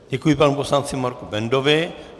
Děkuji panu poslanci Marku Bendovi.